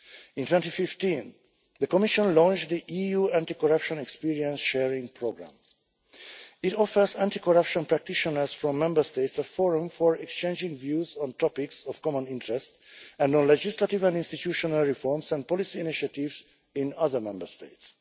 In 2015 the Commission launched the EU Anti-Corruption Experience Sharing Programme. It offers anti-corruption practitioners from Member States a forum for exchanging views on topics of common interest and on legislative and institutional reforms and policy initiatives in other Member States.